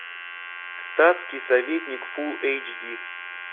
статский советник фул эйч ди